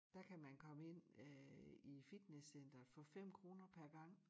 Dér kan man komme ind øh i fitnesscenteret for 5 kroner per gang